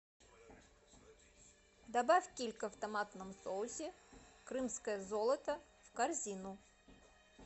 добавь килька в томатном соусе крымское золото в корзину